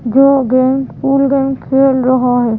जो game pool game खेल रहा है।